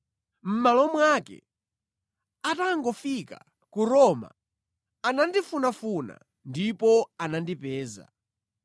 Mʼmalo mwake, atangofika ku Roma, anandifunafuna ndipo anandipeza.